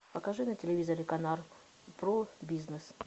покажи на телевизоре канал про бизнес